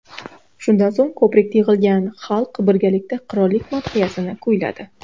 Shundan so‘ng ko‘prikda yig‘ilgan xalq birgalikda qirollik madhiyasini kuyladi.